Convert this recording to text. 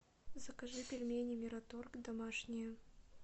закажи пельмени мираторг домашние